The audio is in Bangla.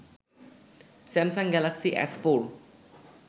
Samsung Galaxy S four